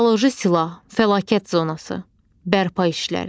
Bioloji silah, fəlakət zonası, bərpa işləri.